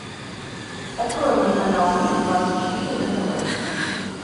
открой мне канал мир двадцать четыре на тв